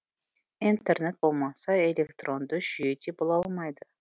интернет болмаса электронды жүйе де бола алмайды